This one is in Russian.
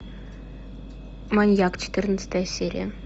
маньяк четырнадцатая серия